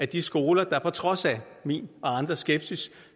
de skoler der på trods af min og andres skepsis